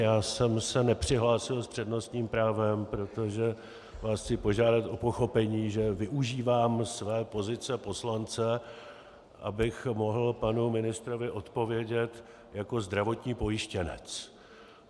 Já jsem se nepřihlásil s přednostním právem, protože vás chci požádat o pochopení, že využívám své pozice poslance, abych mohl panu ministrovi odpovědět jako zdravotní pojištěnec.